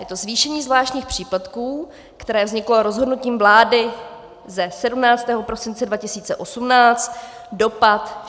Je to zvýšení zvláštních příplatků, které vzniklo rozhodnutím vlády ze 17. prosince 2018, dopad 638 milionů korun pro kraje.